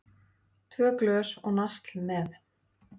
Tvö glös og nasl með.